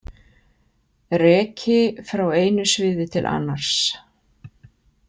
Reki frá einu sviði til annars.